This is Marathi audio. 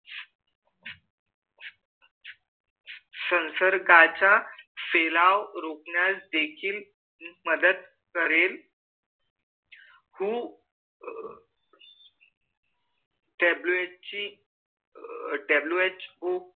संसर्गाचा सेलाओ रोखण्यास देखील मदत हू WHWHO